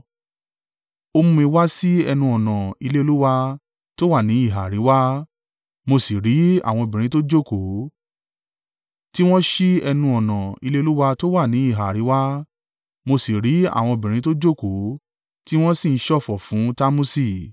Ó mú mi wá sí ẹnu-ọ̀nà ilé Olúwa tó wà ní ìhà àríwá, mo sì rí àwọn obìnrin tó jókòó, tí wọ́n sí ẹnu-ọ̀nà ilé Olúwa tó wà ní ìhà àríwá, mo sì rí àwọn obìnrin tó jókòó, tí wọ́n sì ń ṣọ̀fọ̀ fún Tamusi.